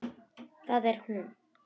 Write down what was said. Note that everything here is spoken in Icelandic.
Það er hún.